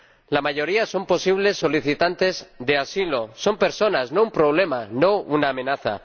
La mayoría son posibles solicitantes de asilo son personas, no un problema, no una amenaza.